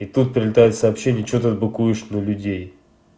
и тут прилетает сообщение что ты быкуешь на людей